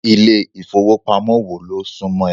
Ilé ìfowópamọ́ wo ló súmọ́ ẹ?